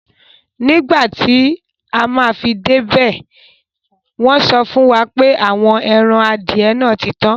Nígbàtí afi dẹ́ ibẹ̀, wọ́nsọ fúnwà pé àwọn èran adìẹ̀ náà títan.